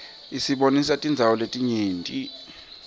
isibonisa tindzawo letinyenti